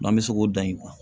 an bɛ se k'o dan